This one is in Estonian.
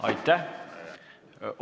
Aitäh!